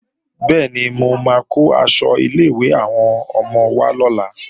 Bẹ́ẹ̀ni, mo máa kó aṣọ ilé-ìwé àwọn ọmọ wá lọ́la